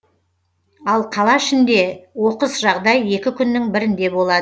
ал қала ішінде оқыс жағдай екі күннің бірінде болады